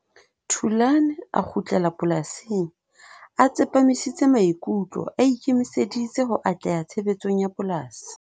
Thulan a kgutlela polasing, a tsepamisitse maikutlo, a ikemiseditse ho atleha tshebetsong ya polasi.